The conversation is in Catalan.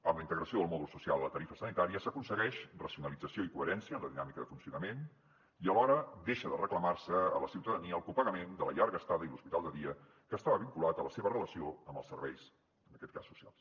amb la integració del mòdul social a la tarifa sanitària s’aconsegueix racionalització i coherència en la dinàmica de funcionament i alhora deixa de reclamar se a la ciutadania el copagament de la llarga estada i l’hospital de dia que estava vinculat a la seva relació amb els serveis en aquest cas socials